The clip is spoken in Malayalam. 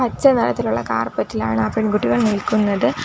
പച്ച നിറത്തിലുള്ള കാർപെറ്റ് ഇലാണ് ആ പെൺകുട്ടികൾ നിൽക്കുന്നത്.